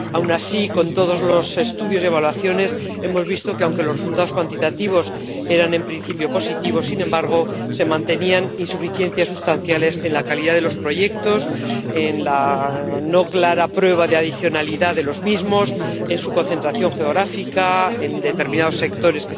Aun así, con todos los estudios y evaluaciones, hemos visto que aunque los resultados cuantitativos eran, en principio, positivos, sin embargo se mantenían insuficiencias sustanciales en la calidad de los proyectos, en la no clara prueba de adicionalidad de los mismos, en su concentración geográfica, en la falta de determinados sectores